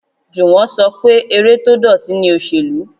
Juwon ṣọ pé eré tó dọ̀tí ni òsèlú.